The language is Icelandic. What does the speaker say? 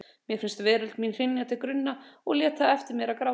Mér fannst veröld mín hrynja til grunna og lét það eftir mér að gráta.